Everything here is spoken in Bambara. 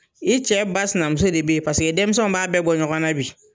I cɛ ba sinamuso de bɛ yen paseke denmisɛnw b'a bɛɛ bɔ ɲɔgɔnna bi.